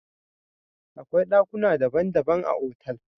Akwai dakuna dabban dabban a otal.